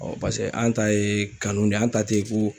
paseke an ta ye kanu de ye, an ta te ko